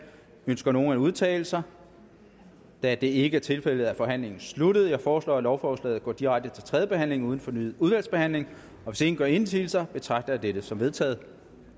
ønsker nogen at udtale sig da det ikke er tilfældet er forhandlingen sluttet jeg foreslår at lovforslaget går direkte til tredje behandling uden fornyet udvalgsbehandling hvis ingen gør indsigelse betragter jeg det som vedtaget